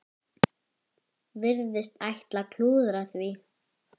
Virðast ætla að klúðra því.